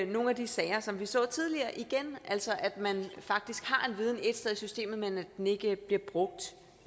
nogle af de sager som vi så tidligere igen altså at man faktisk har en viden ét sted i systemet men at den ikke bliver brugt